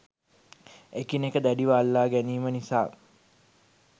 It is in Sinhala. එකිනෙක දැඩිව අල්ලා ගැනීම නිසා